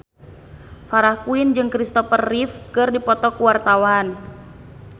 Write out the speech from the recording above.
Farah Quinn jeung Kristopher Reeve keur dipoto ku wartawan